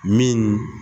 Min